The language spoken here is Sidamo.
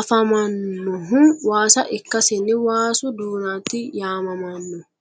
afamanohu waasa ikasinni waasu dunati yaamamano.